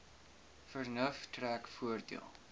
vernuf trek voordeel